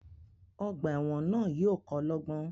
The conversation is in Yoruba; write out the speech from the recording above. Ogbà èwòn náà yío ko lógbón